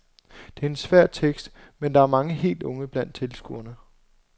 Det er en svær tekst, men der er mange helt unge blandt tilskuerne.